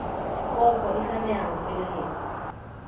kopo e tlameha ho felehetswa